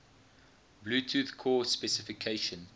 bluetooth core specification